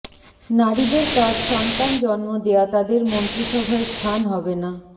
নারীদের কাজ সন্তান জন্ম দেয়া তাদের মন্ত্রীসভায় স্থান হবেনা